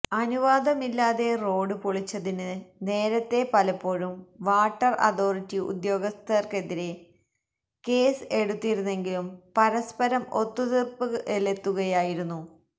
അനുവാദമില്ലാതെ റോഡ് പൊളിച്ചതിന് നേരത്തെ പലപ്പോഴും വാട്ടര് അതോറിറ്റി ഉദ്യോഗ്ഥര്ക്കെതിരെ കേസ് എടുത്തിരുന്നെങ്കിലും പരസ്പരം ഒത്തൂതീര്പ്പിലെത്തുകയായിരുന്നു